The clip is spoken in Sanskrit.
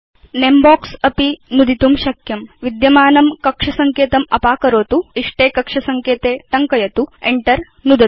भवान् नमे बॉक्स अपि नुदितुं शक्नोति विद्यमानं कक्ष सङ्केतम् अपाकरोतु इष्टे कक्ष सङ्केते टङ्कयतु च Enter नुदतु च